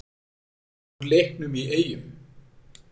Úr leiknum í Eyjum.